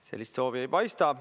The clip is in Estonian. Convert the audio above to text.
Sellist soovi ei paista.